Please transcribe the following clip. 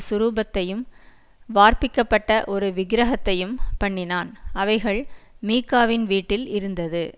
சுரூபத்தையும் வார்ப்பிக்கப்பட்ட ஒரு விக்கிரகத்தையும் பண்ணினான் அவைகள் மீகாவின் வீட்டில் இருந்தது